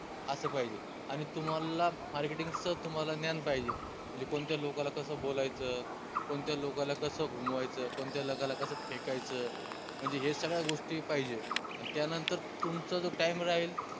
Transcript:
आस पाहिजे आनि तुम्हाला Marketing च तुम्हाला ज्ञान पाहिजे म्हनजे कोनच्या लोकाला कस बोलायचं? कोनच्या लोकाला कस घुमवायचं? कोनच्या लोकाला कस फेकायच म्हनजे हे सगळ्या गोष्टी पाहिजे अन त्या नंतर तुमचं जो time राहील